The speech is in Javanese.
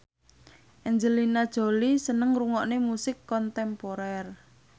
Angelina Jolie seneng ngrungokne musik kontemporer